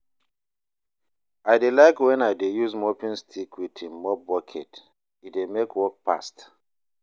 I dey like wen I dey use mopping stick wit im mop bucket, e dey mek work fast